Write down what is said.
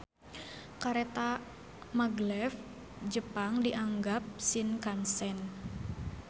Kareta maglev Jepang dianggap Shinkansen.